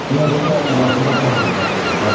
Binəqədi rayon ərazisində qətl baş verib.